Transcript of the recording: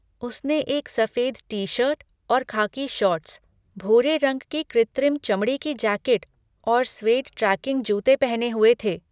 उसने एक सफ़ेद टी शर्ट और खाकी शॉर्ट्स, भूरे रंग की कृत्रिम चमड़े की जैकेट और स्वेड ट्रेकिंग जूते पहने हुए थे।